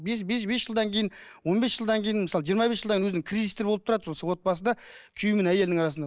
бес бес жылдан кейін он бес жылдан кейін мысалы жиырма бес жылдан кейін өзінің кризистері болып тұрады сол отбасыда күйеуі мен әйелінің арасында